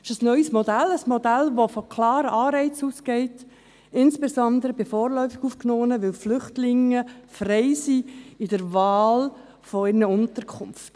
Es ist ein neues Modell – ein Modell, das von klaren Anreizen ausgeht, insbesondere bei vorläufig Aufgenommenen, weil Flüchtlinge frei sind in der Wahl ihrer Unterkunft.